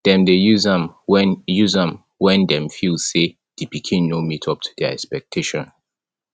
dem de use am when use am when dem feel say di pikin no meet up to their expectation